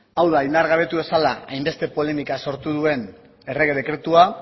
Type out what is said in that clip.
hau da indargabetu dezala hainbeste polemika sortu duen errege dekretua